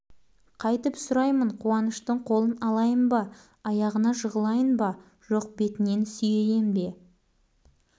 қайтіп сұраймын қуаныштың қолын алайын ба аяғына жығылайын ба жоқ бетінен сүйейін бе